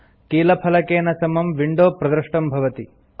कीलफलकेन समं विंडो प्रदृष्टं भवति